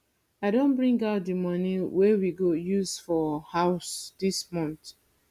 i don bring out the money wey we go use for house dis month